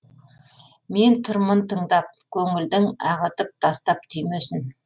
мен тұрмын тыңдап көңілдің ағытып тастап түймесін